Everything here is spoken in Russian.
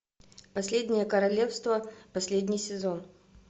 последнее королевство последний сезон